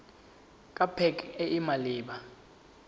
ke pac e e maleba